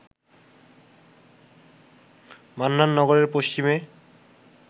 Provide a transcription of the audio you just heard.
মন্নাননগরের পশ্চিমে